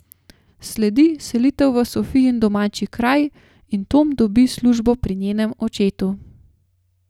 Sledi selitev v Sofijin domači kraj in Tom dobi službo pri njenem očetu.